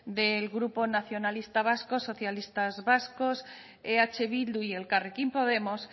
del grupo nacionalista vasco socialistas vascos eh bildu y elkarrekin podemos